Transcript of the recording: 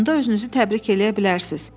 Onda özünüzü təbrik eləyə bilərsiniz.